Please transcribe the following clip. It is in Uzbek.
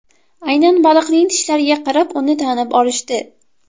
Aynan baliqning tishlariga qarab uni tanib olishdi.